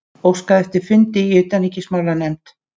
Óskað eftir fundi í utanríkismálanefnd